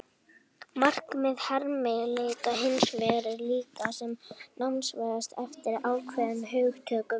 Markmið hermileikja hins vegar er að líkja sem nákvæmast eftir ákveðnum hugtökum.